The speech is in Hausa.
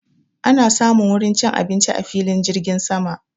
Ana samun wurin cin abinci a filin jirgin sama